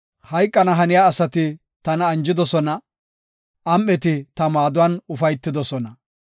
Hayqana haniya asati tana anjidosona; am7eti ta maaduwan ufaytidosona.